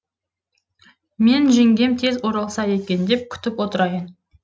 мен жеңгем тез оралса екен деп күтіп отырайын